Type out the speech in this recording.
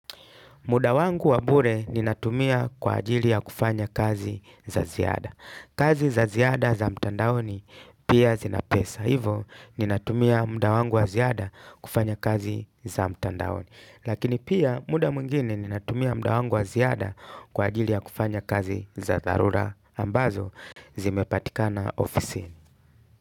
Muda wangu wa bure ninatumia kwa ajili ya kufanya kazi za ziada. Kazi za ziada za mtandaoni pia zina pesa. Hivo ninatumia muda wangu wa ziada kufanya kazi za mtandaoni. Lakini pia muda mwingine ninatumia muda wangu wa ziada kwa ajili ya kufanya kazi za dharura ambazo zimepatikama ofisini.